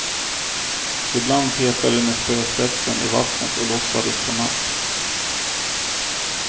Ibland petade de med spöspetsen i vattnet och låtsades få napp.